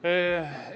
Kolm minutit lisaaega.